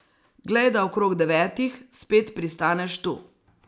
Glej, da okrog devetih spet pristaneš tu.